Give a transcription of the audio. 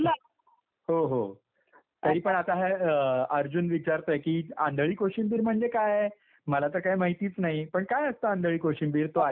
हो हो. तरीपण आता हे अर्जुन विचारतोय की आंधळी कोशिंबीर म्हणजे काय? मला तर काही माहितीच नाही. पण काय असतं आंधळी कोशिंबीर? तो ऐकतोय बरं का.